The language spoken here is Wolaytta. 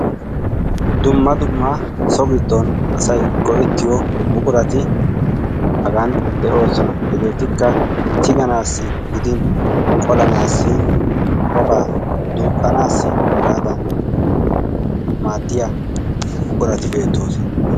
Dumma dumma so-giddon asay go'ettiyoo buqurati Hagan de'oosona. Hegeetikka Hagan tiganaassi gidin qolanaassi ubbabaa duuqqanaassi hegaadan maaddiya buqurati beettoosona.